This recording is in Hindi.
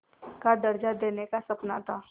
का दर्ज़ा देने का सपना था